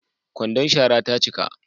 Kwandon shara ta cika